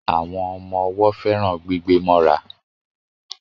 Àwọn ọmọ owó féràn gbígbé móra